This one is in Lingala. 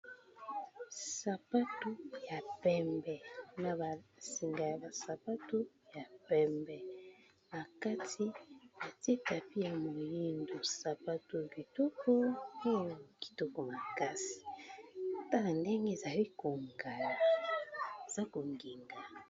Sapatu ya pembe na ba singa ya ba sapatu ya pembe, na kati batie tapis ya moyindo sapatu oyo kitoko oyo kitoko makasi tala ndenge ezali ko ngala eza ko ngenga.